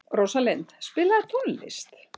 Rósalind, spilaðu tónlist.